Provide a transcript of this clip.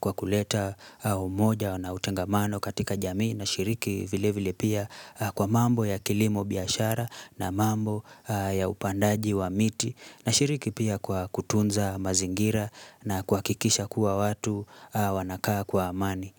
kwa kuleta umoja na utangamano katika jamii, na shiriki vile vile pia kwa mambo ya kilimo biashara na mambo ya upandaji wa miti, na shiriki pia kwa kutunza mazingira na kuhakikisha kuwa watu wanakaa kwa amani.